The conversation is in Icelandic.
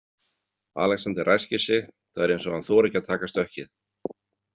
Alexander ræskir sig, það er eins og hann þori ekki að taka stökkið.